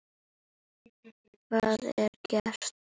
Hvað er gert?